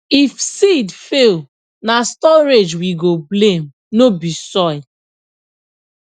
if seed fail na storage we go blame no be soil